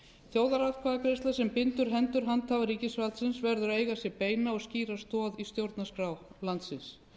þjóðaratkvæðagreiðsla sem bindur hendur handhafa ríkisvaldsins verður að eiga sér beina og skýra stoð í stjórnarskrá landsins